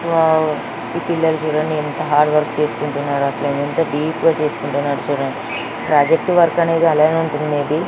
Wow ఈ పిల్లలు చూడండి ఎంత హార్డ్ వర్క్ చేసుకుంటున్నారు. అసలు ఎంత డీప్ గా చేసుకుంటున్నారో చూడండి ప్రాజెక్ట్ వర్క్ అనేది అలానే ఉంటుంది మే బి .